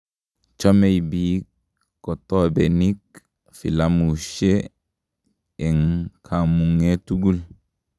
Chomei biik kotobenik filamusihe eng kamung'e tugul